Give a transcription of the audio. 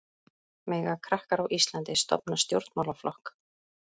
Mega krakkar á Íslandi stofna stjórnmálaflokk?